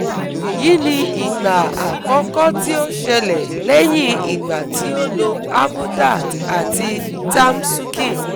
Èyí ni ìgbà àkọ́kọ́ tí ó ṣẹlẹ̀ lẹ́yìn ìgbà tí ó lo Avodart àti Tamsukin